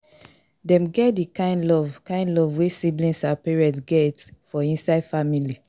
Dem get di kind love kind love wey siblings and parents get for inside family